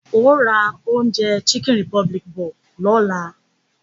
Óò ra oúnjẹ lọ́dọ̀ chicken republic lọ́la!